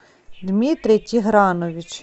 дмитрий тигранович